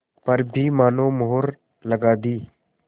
पर भी मानो मुहर लगा दी